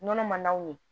Nɔnɔ man n'o ye